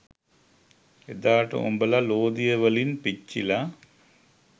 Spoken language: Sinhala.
එදාට උඹල ලෝදිය වලින් පිච්චිල